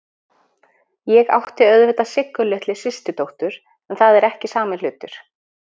Ég átti auðvitað Siggu litlu systurdóttur, en það er ekki sami hlutur.